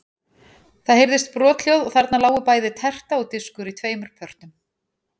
Það heyrðist brothljóð og þarna lágu bæði terta og diskur í tveimur pörtum.